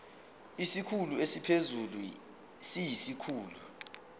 isikhulu esiphezulu siyisikhulu